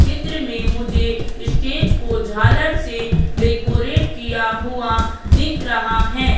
चित्र में मुझे स्टेज को झालर से डेकोरेट किया हुआ दिख रहा है।